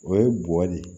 O ye bɔgɔ de ye